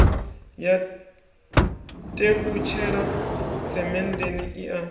ya tevhutshela semenndeni i a